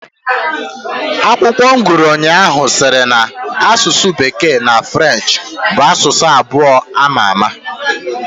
Akwụkwọ m gụrụ ụnyaahụ sịrị na asụsụ bekee na Frenchị bu asụsụ abụọ ama àmà.